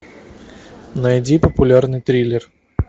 найди популярный триллер